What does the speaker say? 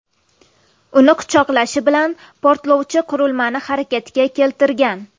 Uni quchoqlashi bilan portlovchi qurilmani harakatga keltirgan.